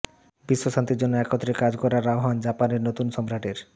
বিশ্ব শান্তির জন্য একত্রে কাজ করার আহ্বান জাপানের নতুন সম্রাটের